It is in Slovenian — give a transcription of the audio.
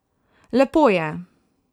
Lepo je.